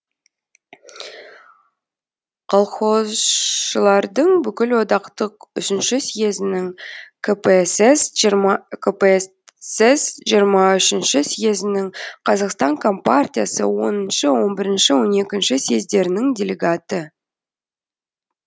колхозшылардың бүкіл одақтық үшінші сьезінің кпсс жиырма үшінші съезінің қазақстан компартиясы оныншы он бірінші он екінші сьездерінің делегаты